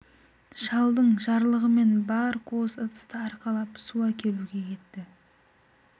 шалдың жарлығымен бар қуыс ыдысты арқалап су әкелуге кетті